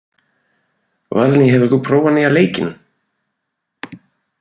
Valný, hefur þú prófað nýja leikinn?